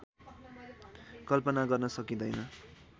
कल्पना गर्नै सकिँदैन